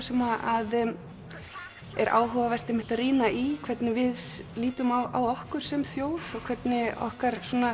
sem er áhugavert að rýna í hvernig við lítum á okkur sem þjóð og hvernig okkar